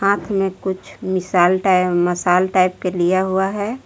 हाथ में कुछ मिसाल टाइम मसाल टाइप के लिया हुआ है।